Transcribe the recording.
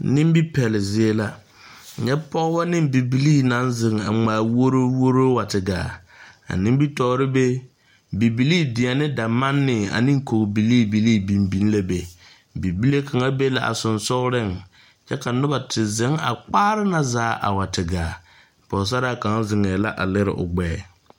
Nimi pɛɛle zie la, nyɛ pɔgeba ane bibiiri naŋ zeŋ a ŋmaa woroworo a wa te gaa a nimitɔre be bibilii deɛne damanne ane kori bibilii bibilii biŋ la be bibile kaŋa be la sensɔɔreŋ kyɛ ka noba te zeŋ a kpaareŋ na zaa a wa te gaa, pɔgesarra kaŋa. zeŋɛ la a leri o gbɛɛ.